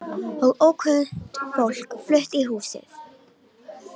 Og ókunnugt fólk flutt í húsið.